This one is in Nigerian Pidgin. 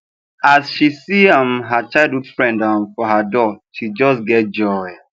as she see um her childhood friend um for her door she just get joy